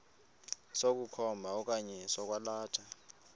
sokukhomba okanye sokwalatha